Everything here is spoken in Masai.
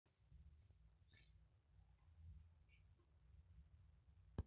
tapaliki iyiok amu keitorono duo ena duo daa nikiyakita ntae ,meigili aas neijia